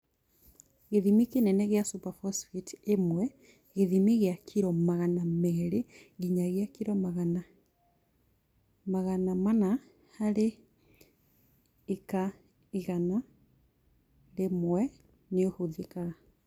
Gĩthimi kĩnene gĩa superphosphate ĩmwe gĩthimi gĩa kiro magana merĩ nginyagia kiro magana mana harĩ ĩka igana rĩmwe nĩihũthĩkaga